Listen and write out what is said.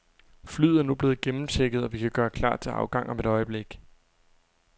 Flyet er nu blevet gennemchecket, og vi kan gøre klar til afgang om et øjeblik.